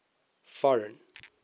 foreign